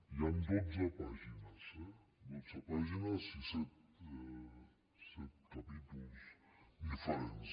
hi han dotze pàgi·nes dotze pàgines i set capítols diferents